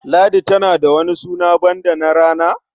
Ladi tana da wani suna banda na rana?